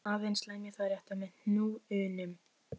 Aðeins lemja það létt með hnúunum.